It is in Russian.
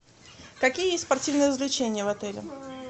какие есть спортивные развлечения в отеле